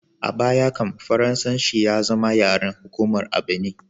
A baya can, Faransanci ya zama yaren hukuma a Benin.